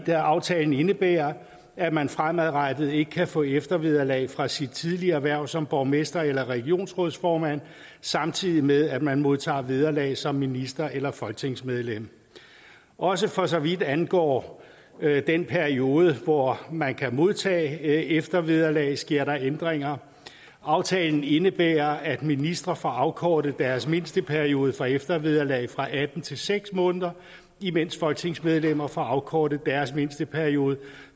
da aftalen indebærer at man fremadrettet ikke kan få eftervederlag fra sit tidligere hverv som borgmester eller regionsrådsformand samtidig med at man modtager vederlag som minister eller folketingsmedlem også for så vidt angår den periode hvor man kan modtage eftervederlag sker der ændringer aftalen indebærer at ministre får afkortet deres mindsteperiode for eftervederlag fra atten til seks måneder imens folketingsmedlemmer får afkortet deres mindsteperiode